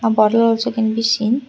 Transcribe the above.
uh bottle also can be seen.